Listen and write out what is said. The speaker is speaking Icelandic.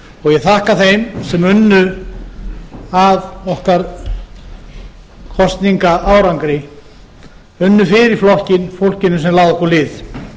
vori ég þakka þeim sem unnu að okkar kosningaárangri unnu fyrir flokkinn fólkinu sem lagði okkur lið